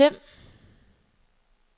Them